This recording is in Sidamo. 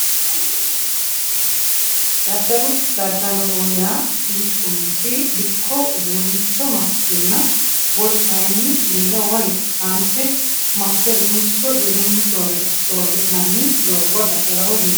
Daddalo daddaloho yaa mittu manchi dikko uduunnicho massenna wolu kayinni birra woyi saante masse uduunnicho birrunni soorri'nanni doogo daddaloho yineemmo